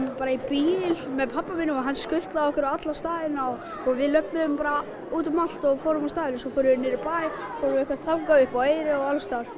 bara í bíl með pabba mínum og hann skutlaði okkur á alla staðina og við löbbuðum bara út um allt og fórum á staði svo fórum við niður í bæ fórum eitthvað þangað og upp á Eyri og alls staðar